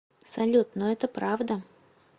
салют но это правда